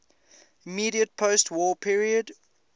immediate postwar period